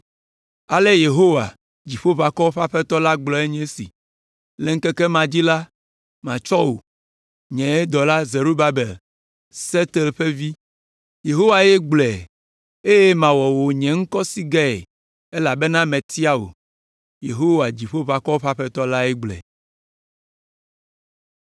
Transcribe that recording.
Ale Yehowa, Dziƒoʋakɔwo ƒe Aƒetɔ la gblɔe nye esi, “ ‘Le ŋkeke ma dzi la, matsɔ wò, nye dɔla Zerubabel, Sealtiel ƒe vi, Yehowae gblɔe eye mawɔ wò nye ŋkɔsigɛe elabena metia wò.’ Yehowa, Dziƒoʋakɔwo ƒe Aƒetɔ lae gblɔe.”